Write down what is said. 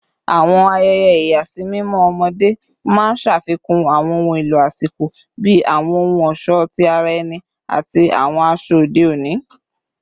Awọn ayẹyẹ ìyàsímímọ ọmọde maa n ṣafikun awọn ohun elo asiko bi awọn ohun ọṣọ ti ara ẹni ati awọn aṣọ ode oni